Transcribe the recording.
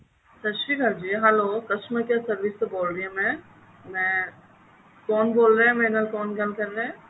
ਸਤਿ ਸ਼੍ਰੀ ਅਕਾਲ ਜੀ hello customer care service ਤੋਂ ਬੋਲ ਰਹੀਆਂ ਮੈਂ ਕੌਣ ਬੋਲ ਰਿਹਾ ਹੈ ਮੇਰੇ ਨਾਲ ਕੋਣ ਗੱਲ ਕਰ ਰਿਹਾ ਹੈ